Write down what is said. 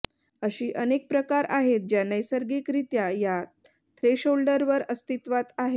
अशी अनेक प्रकार आहेत ज्या नैसर्गिकरित्या या थ्रेशोल्डवर अस्तित्वात आहेत